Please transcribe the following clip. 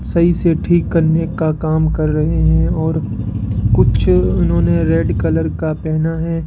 सही से ठीक करने का काम कर रहे हैं और कुछ उन्होंने रेड कलर का पहना है।